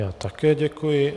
Já také děkuji.